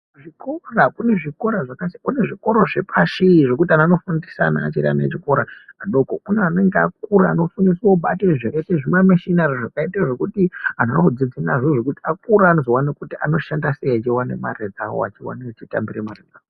Kuzvikora ,kune zvakati, kune zvikora zvepashi zvekuti anhu anofundisa ana achiri ana echikora adoko. Kune anenge akura anofundiswa kubate zvakaite zvimameshinari ,zvakaite zvekuti azvidzidziki nazvo akura anozowane kuti oshanda sei achiwane mari dzavo achiwane achitambira mari dzavo.